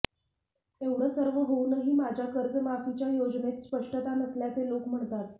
एवढं सर्व होऊनही माझ्या कर्जमाफीच्या योजनेत स्पष्टता नसल्याचे लोक म्हणतात